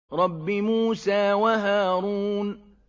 رَبِّ مُوسَىٰ وَهَارُونَ